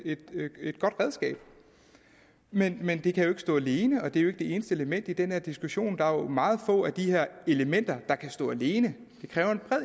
godt redskab men men det kan ikke stå alene og det er jo ikke det eneste element i den her diskussion der er jo meget få af de her elementer der kan stå alene